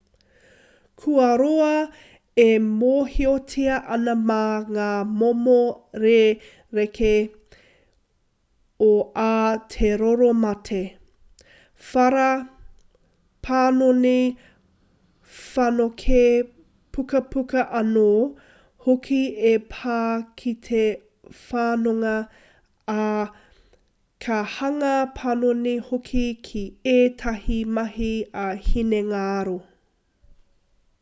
kua roa e mōhiotia ana mā ngā momo rerekē o ā te roro mate whara panoni whanokē pukupuku anō hoki e pā ki te whanonga ā ka hanga panoni hoki ki ētahi mahi ā-hinengaro